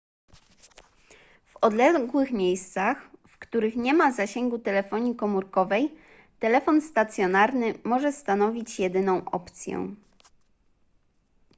w odległych miejscach w których nie ma zasięgu telefonii komórkowej telefon satelitarny może stanowić jedyną opcję